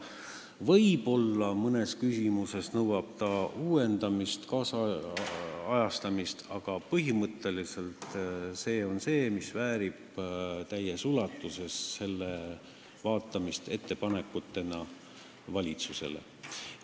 Võib-olla ta nõuab mõnes küsimuses uuendamist, tänapäevastamist, aga põhimõtteliselt väärib ta täies ulatuses käsitlemist valitsusele tehtavate ettepanekutena.